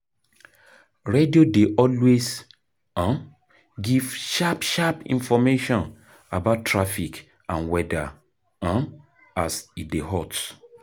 Radio dey always um give sharp sharp information about traffic and weather um as e dey hot